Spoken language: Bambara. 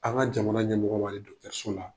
An' ŋa jamana ɲɛmɔgɔ wale so la